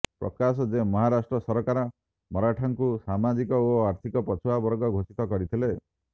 ପ୍ରକାଶ ଯେ ମହାରାଷ୍ଟ୍ର ସରକାର ମରାଠାଙ୍କୁ ସାମାଜିକ ଓ ଆର୍ଥିକ ପଛୁଆ ବର୍ଗ ଘୋଷିତ କରିଥିଲେ